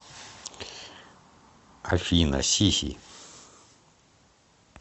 афина сиси